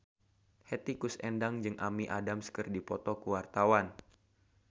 Hetty Koes Endang jeung Amy Adams keur dipoto ku wartawan